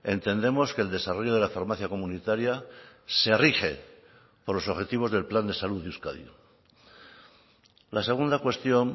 entendemos que el desarrollo de la farmacia comunitaria se rige por los objetivos del plan de salud de euskadi la segunda cuestión